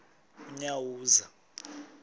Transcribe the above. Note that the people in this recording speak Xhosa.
unyawuza